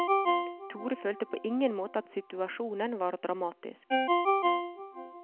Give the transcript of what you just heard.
Tore følte på ingen måte at situasjonen var dramatisk.